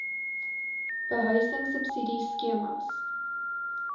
behuising subsidie skemas